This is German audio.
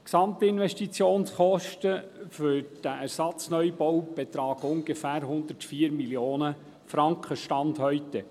Die Gesamtinvestitionskosten für diesen Ersatzneubau betragen ungefähr 104 Mio. Franken, Stand heute.